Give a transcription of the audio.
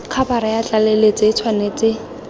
khabara ya tlaleletso e tshwanetse